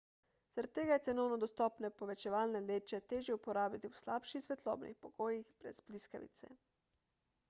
zaradi tega je cenovno dostopne povečevalne leče težje uporabiti v slabših svetlobnih pogojih brez bliskavice